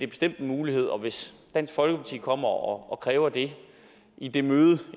bestemt en mulighed og hvis dansk folkeparti kommer og kræver det i det møde